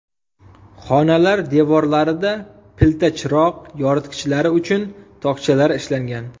Xonalar devorlarida pilta chiroq yoritgichlari uchun tokchalar ishlangan.